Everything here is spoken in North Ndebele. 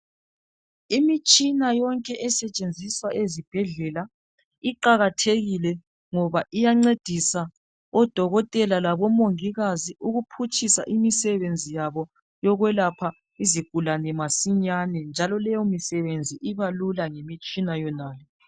Imitshina yonke esetshenziswa ezibhedlela iqakathekile ngoba iyancedisa odokotela labomongikazi ukuphutshisa imisebenzi yabo yokwelapha izigulane masinyane njalo leyo misebenzi ibalula ngemitshina yona le.